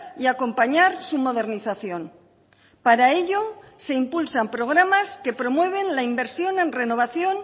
y acompañar su modernización para ello se impulsan programas que promueven la inversión en renovación